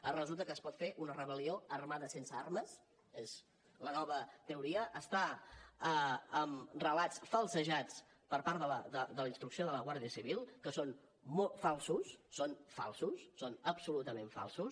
ara resulta que es pot fer una rebel·lió armada sense armes és la nova teoria està en relats falsejats per part de la instrucció de la guàrdia civil que són falsos que són falsos són absolutament falsos